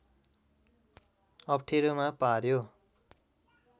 अप्ठेरोमा पर्‍यो